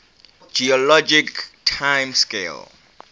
geologic time scale